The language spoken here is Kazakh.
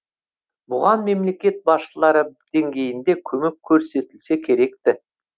бұған мемлекет басшылары деңгейінде көмек көрсетілсе керек ті